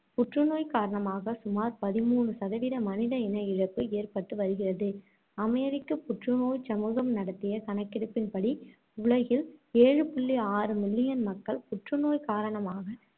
புற்றுநோய் காரணமாக சுமார் பதிமூணு சதவீத மனித இன இழப்பு ஏற்பட்டு வருகிறது. அமெரிக்க புற்று நோய்ச் சமூகம் நடத்திய கணக்கெடுப்பின்படி உலகில் ஏழு புள்ளி ஆறு million மக்கள் புற்றுநோய் காரணமாக